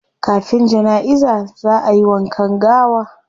Kafin janaiza zaa ayi wankan gawa